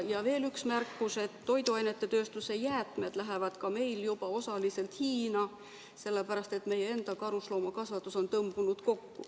Ja veel üks märkus: toiduainetööstuse jäätmed lähevad ka meil juba osaliselt Hiinasse, sellepärast et meie enda karusloomakasvatus on kokku tõmbunud.